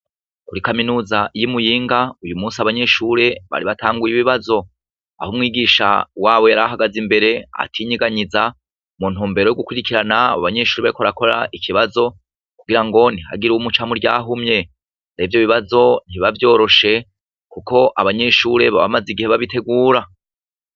Kuri kaminuza y'i Muyinga, uyu musi abanyeshure bari batanguye ibibibazo. Aho umwigisha wabo yari ahagaze imbere atinyiganyiza mu ntumbero yo gukwirikirana abo banyeshure bariko barakora ikibazo kugirango ntihagire umuca mu ryahumye. Rero ivyo bibazo ntibiba vyoroshe kuko abanyeshure baba bamaze igihe babitegura.